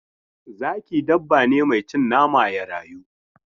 Zaki dabba ne mai cin nama ya rayu.